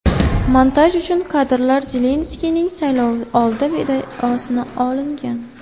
Montaj uchun kadrlar Zelenskiyning saylovoldi videosidan olingan.